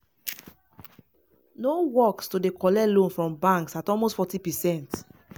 no work to dey collect loans from banks at almost 40%.